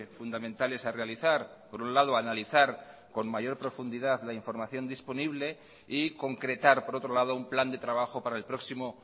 fundamentales a realizar por un lado analizar con mayor profundidad la información disponible y concretar por otro lado un plan de trabajo para el próximo